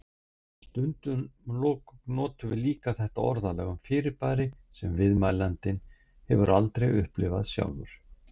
Stundum notum við líka þetta orðalag um fyrirbæri sem viðmælandinn hefur aldrei upplifað sjálfur.